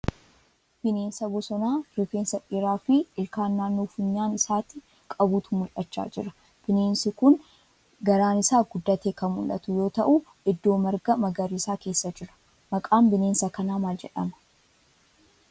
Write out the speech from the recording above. Bineensa bosonaa rifeensa dheeraa fi ilkaan naannoo funyaan isaati qabutu mul'achaa jira. Bineensi kun garaan isaa guddatee kan mul'atu yoo ta'uu iddoo marga magariisaa keessa jira. Maqaan bineensa kanaa maal jedhama?